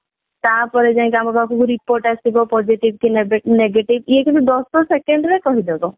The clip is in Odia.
ତାପରେ ଯାଇକି ଆମ ପାଖକୁ report ଆସିବ positive କି negative ଇଏ କିନ୍ତୁ ଦଶ second ରେ କହିଦବ ଦଶ second ହୁଁ